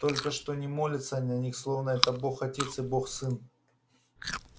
только что не молятся на них словно это бог отец и бог сын